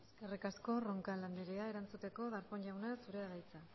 eskerrik asko roncal anderea erantzuteko darpón jauna zurea da hitza